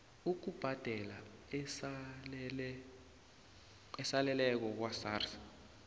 ukubhadela esaleleko kwasars